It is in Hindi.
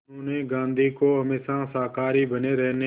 उन्होंने गांधी को हमेशा शाकाहारी बने रहने